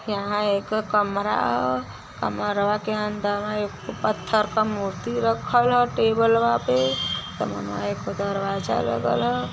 यहा एक अ कमरा ह। कमरा के अंदरवा पत्थर का मूर्ति राखाल ह टेबल पे समानवा एक दरवाजा लागल है।